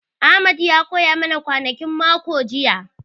Ahmed ya koya ma na kwanakin mako jiya